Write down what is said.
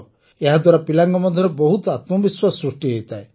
ଏହାଦ୍ୱାରା ପିଲାଙ୍କ ମଧ୍ୟରେ ବହୁତ ଆତ୍ମବିଶ୍ୱାସ ସୃଷ୍ଟି ହୋଇଥାଏ